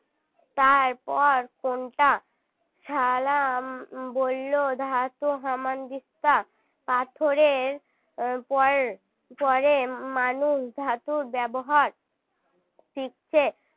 তার পর কোনটা ছালাম বলল ধাতু হামানদিস্তা পাথরের পর পড়ে মানুষ ধাতুর ব্যবহার শিখছে